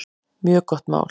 Mjög gott mál.